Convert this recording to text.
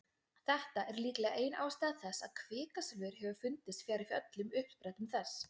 Þetta er líklega ein ástæða þess að kvikasilfur hefur fundist fjarri öllum uppsprettum þess.